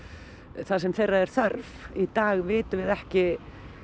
þar sem þeirra er þörf í dag við vitum við ekki